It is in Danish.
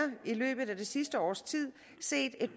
i løbet af det sidste års tid set et